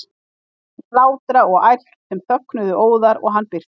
Hann heyrði hlátra og ærsl sem þögnuðu óðar og hann birtist.